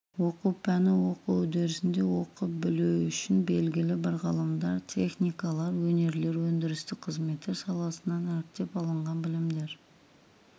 оқу пәні оқу үдерісінде оқып білу үшін белгілі бір ғылымдар техникалар өнерлер өндірістік қызметтер саласынан іріктеп алынған білімдер